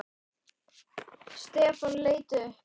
Stefán leit upp.